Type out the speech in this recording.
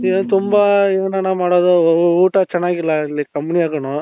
ಇಲ್ಲಿ ತುಂಬಾ ಏನಣ್ಣ ಮಾಡೋದು ಊಟ ಚೆನ್ನಾಗಿಲ್ಲ ಇಲ್ಲಿ companyನಾಗುನು